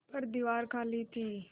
पर दीवार खाली थी